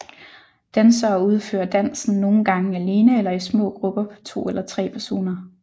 Dansere udfører dansen nogen gange alene eller i små grupper på to eller tre personer